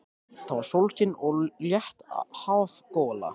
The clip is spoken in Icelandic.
Það var sólskin og létt hafgola.